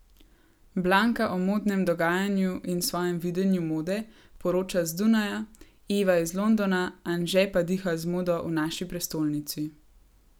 Blanka o modnem dogajanju in svojem videnju mode poroča z Dunaja, Eva iz Londona, Anže pa diha z modo v naši prestolnici.